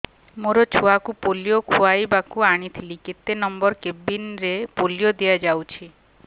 ମୋର ଛୁଆକୁ ପୋଲିଓ ଖୁଆଇବାକୁ ଆଣିଥିଲି କେତେ ନମ୍ବର କେବିନ ରେ ପୋଲିଓ ଦିଆଯାଉଛି